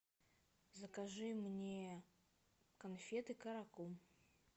закажи мне конфеты каракум